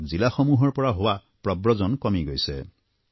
ফলত জিলাসমূহৰ পৰা হোৱা প্ৰব্ৰজন কমি গৈছে